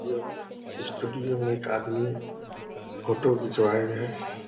यो है स्टूडियो में एक आदमी फोटो खिचवाये हैं।